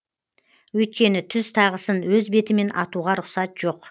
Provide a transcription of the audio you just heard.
өйткені түз тағысын өз бетімен атуға рұқсат жоқ